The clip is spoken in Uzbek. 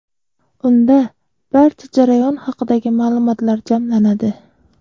Unda barcha jarayon haqidagi ma’lumotlar jamlanadi.